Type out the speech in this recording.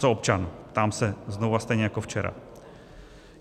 Co občan, ptám se znovu a stejně jako včera?